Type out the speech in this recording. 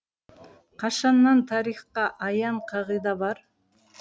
қашаннан тарихқа аян қағида бар